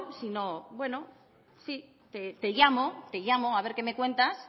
sino con bueno sí te llamo a ver que me cuentas